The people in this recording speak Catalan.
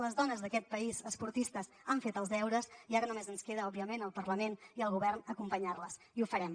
les dones d’aquest país esportistes han fet els deures i ara només ens queda òbviament al parlament i al govern acompanyar les i ho farem